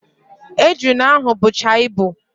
Ejuna ahụ bụcha ibu